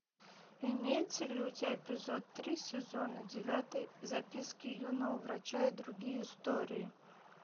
имеется ли у тебя эпизод три сезона девятый записки юного врача и другие истории